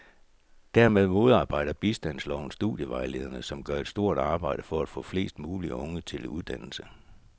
Dermed modarbejder bistandsloven studievejlederne, som gør et stort arbejde for at få flest mulige unge til at søge en uddannelse.